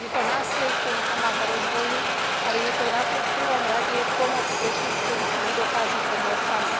Je to nástroj, ktorý pomáha rozvoju, ale je to v prvom rade pomoc pre tých, ktorí si nedokážu pomôcť sami.